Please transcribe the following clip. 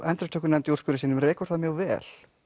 endurupptökunefnd í úrskurði sínum rekur það mjög vel